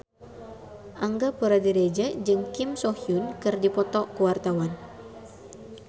Angga Puradiredja jeung Kim So Hyun keur dipoto ku wartawan